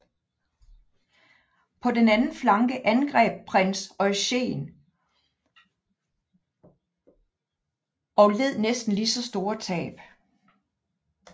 På den anden flanke angreb prins Eugen og ned næsten lige så store tab